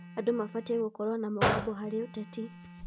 Andũ mabatiĩ gũkorwo na mũgambo harĩ ũteti.